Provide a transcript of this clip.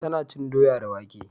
Ta na cin doya da wake